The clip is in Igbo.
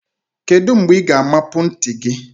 Kedu mgbe ị ga-amapu ntị gị?